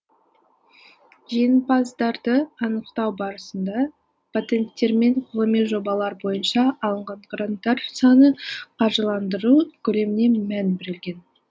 жеңімпаздарды анықтау барысында патенттер мен ғылыми жобалар бойынша алынған гранттар саны қаржыландыру көлеміне мән берілген